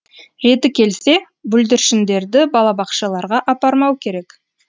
реті келсе бүлдіршіндерді балабақшаларға апармау керек